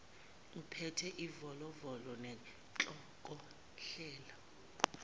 ubephethe ivolovolo nenhlokohlela